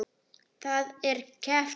Það er keppt um margt.